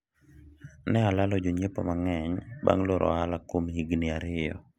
ne alalo jonyiepo mang'eny bang' loro ohala kuom higni ariyo